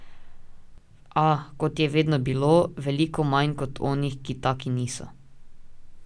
A, kot je vedno bilo, veliko manj kot onih, ki taki niso.